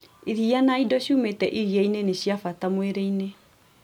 Iria na indo ciumĩte iria inĩ nĩciabata mwĩrĩ inĩ